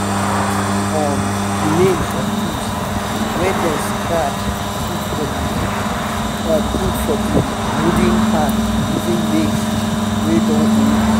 you fit see um the names of tools wey dem scratch put for the put for the um wooden hand using nails wey don old.